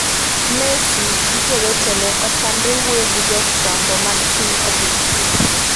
. Messi gi jo wetene otamre wuoyo gi jofwambo mag piny Argentina